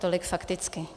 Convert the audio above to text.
Tolik fakticky.